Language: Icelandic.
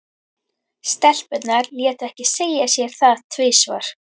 Stelpurnar létu ekki segja sér það tvisvar.